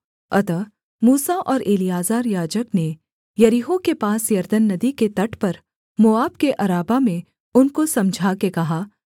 अतः मूसा और एलीआजर याजक ने यरीहो के पास यरदन नदी के तट पर मोआब के अराबा में उनको समझाकर कहा